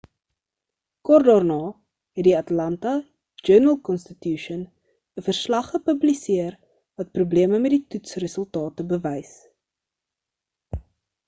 kort daarna het die atlanta journal-constitution 'n verslag gepubliseer wat probleme met die toets-resultate bewys